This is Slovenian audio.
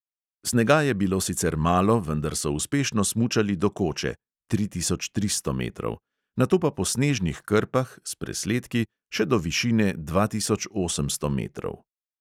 Snega je bilo sicer malo, vendar so uspešno smučali do koče (tri tisoč tristo metrov), nato pa po snežnih krpah – s presledki – še do višine dva tisoč osemsto metrov.